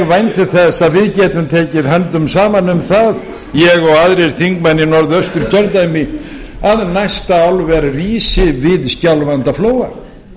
vænti þess að við getum tekið höndum saman um það ég og aðrir þingmenn í norðausturkjördæmi að næsta álver rísi við skjálfandaflóa